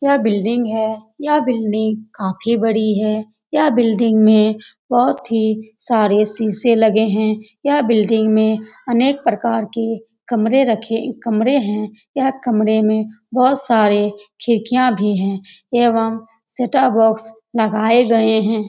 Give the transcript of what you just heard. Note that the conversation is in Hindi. यह बिल्डिंग है यह बिल्डिंग काफी बड़ी है यह बिल्डिंग में बहुत ही सारे शीशे लगे हैं यह बिल्डिंग में अनेक प्रकार के कमरे रखें कमरे हैं यह कमरे में बहुत सारे खिड़कियां भी है एवं सेटअप बॉक्स लगाए गए हैं।